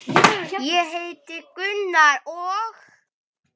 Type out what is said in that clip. Ég heiti Gunnar og.